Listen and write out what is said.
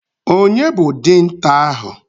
Ònye bụ dinta ahụ?